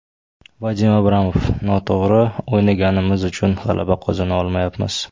Vadim Abramov: Noto‘g‘ri o‘ynaganimiz uchun g‘alaba qozona olmayapmiz.